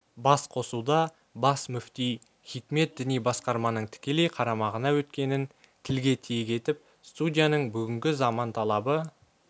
басқосуда бас мүфти хикмет діни басқарманың тікелей қарамағына өткенін тілге тиек етіп студияның бүгінгі заман талабы